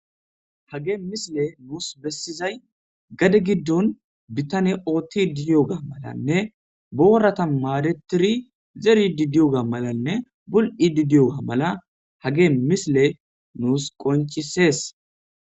Hagee misiley nuus bessizay gade giddon bittane oottiddi diyoga malanne boorata maadetiri zeriiddi diyoga malanne bul7idi diyoga mala hagee misile nuus qonccissees.